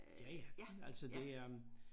Ja ja altså det øh